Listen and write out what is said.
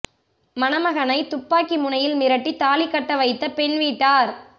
மணமகனை துப்பாக்கி முனையில் மிரட்டி தாலி கட்ட வைத்த பெண் வீட்டார்